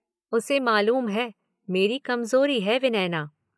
उसे मालूम है, मेरी कमजोरी है विनयना।